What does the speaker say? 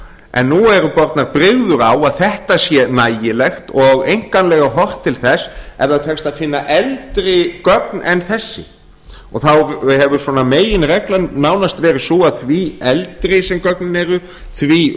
en nú eru bornar brigður á að þetta sé nægilegt og einkanlega horft til þess ef það tekst að finna eldri gögn en þessi þá hefur svona meginreglan nánast verið sú að því eldri sem gögnin eru því